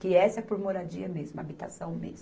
Que essa é por moradia mesmo, habitação mesmo.